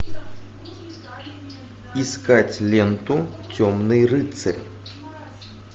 искать ленту темный рыцарь